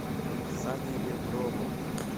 сане реброву